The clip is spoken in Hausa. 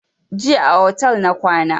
Jiya a otel na kwana